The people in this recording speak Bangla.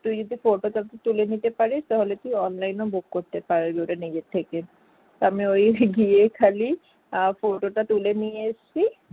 তুই যদি code টা তুলে নিতে পারিস তাহলে তুই online book করতে পারবি । ওটা নিজের থেকে। আমি ওই গিয়ে খালি photo টা তুলে নিয়ে এসেছি